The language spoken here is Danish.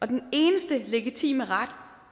den eneste legitime ret